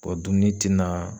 dumuni ti naa